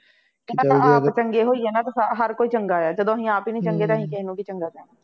ਪਹਿਲਾਂ ਤਾਂ ਆਪ ਚੰਗੇ ਹੋਈਏ ਤਾਂ ਹਰ ਕੋਈ ਚੰਗਾ ਹੈ, ਜਦੋਂ ਅਸੀਂ ਆਪ ਹੀ ਨਹੀਂ ਚੰਗੇ ਤਾਂ ਅਸੀਂ ਕਿਸੇ ਨੂੰ ਕੀ ਚੰਗਾ ਕਹਿਣਾ